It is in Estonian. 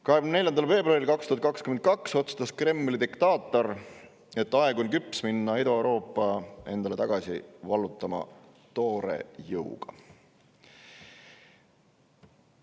24. veebruaril 2022 otsustas Kremli diktaator, et aeg on küps minna Ida-Euroopat endale toore jõuga tagasi vallutama.